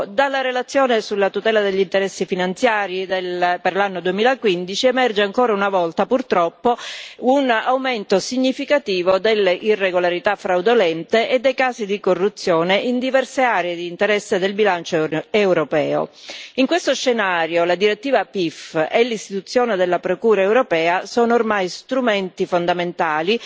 Dalla relazione sulla tutela degli interessi finanziari per l'anno 2015 emerge ancora una volta, purtroppo, un aumento significativo delle irregolarità fraudolente e dei casi di corruzione in diverse aree di interesse del bilancio europeo. In questo scenario, la direttiva PIF e l'istituzione della Procura europea sono ormai strumenti fondamentali